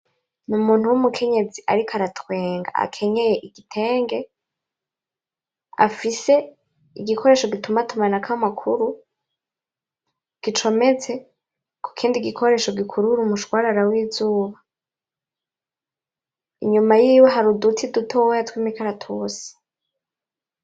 Numuntu wumukenyezi ariko aratwenga akenyeye igitenge, afise igikoresho gituma atumanako amakuru, gicometse kukindi gikoresho gikurura umushwarara w'izuba, inyuma yiwe hari uduti dutoya tw'imikaratusi